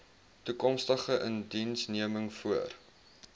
toekomstige indiensneming voor